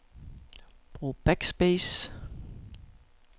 Brug backspace.